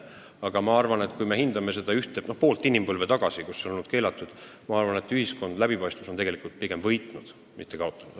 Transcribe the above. Aga ma arvan, et kui me hindame seda pool inimpõlve kestnud aega, kui see on olnud keelatud, siis võib öelda, et ühiskonna läbipaistvus on pigem võitnud, mitte kaotanud.